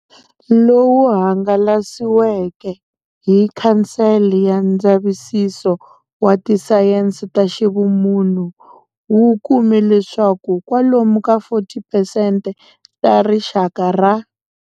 Lowu hangalasiweke hi Khansele ya Ndzavisiso wa Tisayense ta Ximunhu wu kume leswaku kwalomu ka 40 phesente ta Rixaka ra.